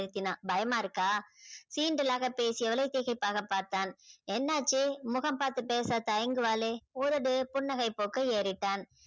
பயமா இருக்கா சீண்டலாக பேசியவளை திகைப்பாக பார்தான என்னாச்சி முகம் பார்த்து பேச தயங்குவாலே உதடு புன்னகை பூக்க ஏறிட்டான்